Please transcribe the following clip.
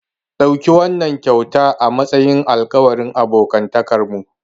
Ɗauki wannan kyauta a matsayin alƙawarin abokantakarmu.